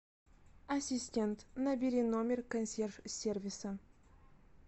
ассистент набери номер консьерж сервиса